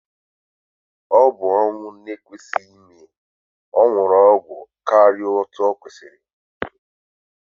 Ọbụ ọnwụ na ekwesị ime, ọnwuru ọgwụ karịa otú okwesiri